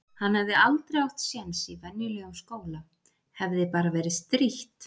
Hann hefði aldrei átt sjens í venjulegum skóla. hefði bara verið strítt.